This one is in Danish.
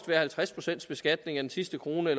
være halvtreds procent beskatning af den sidste krone